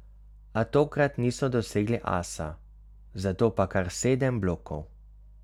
A tokrat niso dosegli asa, zato pa kar sedem blokov.